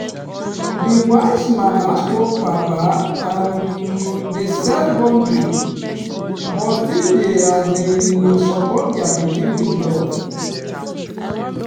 the wise mama/papa um dey set boundary but still dey um support their pikin with love.